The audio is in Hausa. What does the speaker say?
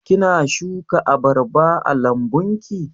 Kina shuka abarba a lambun ki?